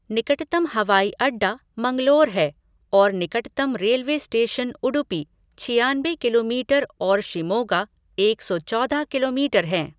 निकटतम हवाई अड्डा मंगलोर है और निकटतम रेलवे स्टेशन उडुपी, छियानबे किलोमीटर और शिमोगा, एक सौ चौदह किलोमीटर हैं।